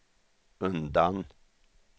undan